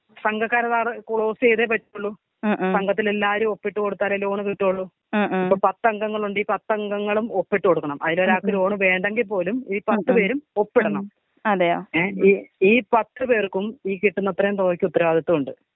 സംഘക്കാര് sir ക്ലോസീതേ പറ്റുള്ളു സംഘത്തിലുള്ള എല്ലാരും ഒപ്പിട്ട് കൊടുത്താലെ ലോൺ കിട്ടത്തൊള്ളൂ. ഇപ്പൊ പത്തങ്കങ്ങലുണ്ടേ ഈ പത്തങ്കങ്ങളും ഒപ്പിട്ട് കൊടുക്കണം അതിലൊരാൾക്ക് ലോൺ വേണ്ടെങ്കിൽ പോലും ഈ പത്ത് പേരും ഒപ്പിടണം. ഏ ഈ ഈ പത്ത് പേർക്കും ഈ കിട്ടുന്ന തുകക്കത്രയും ഉത്തരവാദിത്തമുണ്ട്.